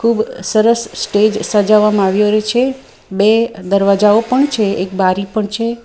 ખુબ સરસ સ્ટેજ સજાવવામાં આવ્યો રયો છે બે દરવાજાઓ પણ છે એક બારી પણ છે.